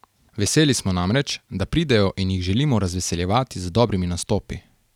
Veseli smo namreč, da pridejo in jih želimo razveseljevati z dobrimi nastopi.